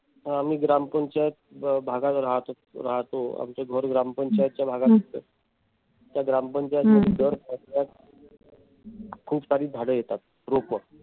आम्ही ग्रामपंचायत भागात राहतो. आता आमच घर ग्रामपंचायत च्या भागात येत. त्या ग्रामपंचायतमध्ये दर वर्षी खूप सारी झाडे येतात. रोपवाटप